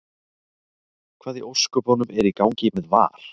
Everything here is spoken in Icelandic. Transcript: Hvað í ósköpunum er í gangi með VAR?